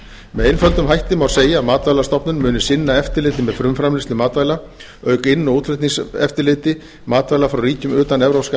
með einföldum hætti má segja að matvælastofnun muni sinna eftirliti með frumframleiðslu matvæla auk inn og útflutningseftirliti matvæla frá ríkjum utan evrópska